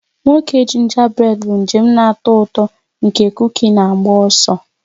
Nwoke jinjabréd bụ njem na-atọ ụtọ nke kukí na-agba ọsọ.